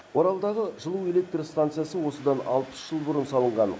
оралдағы жылу электр стансасы осыдан алпыс жыл бұрын салынған